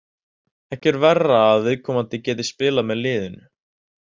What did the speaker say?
Ekki er verra að viðkomandi geti spilað með liðinu.